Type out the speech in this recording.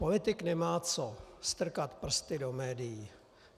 Politik nemá co strkat prsty do médií.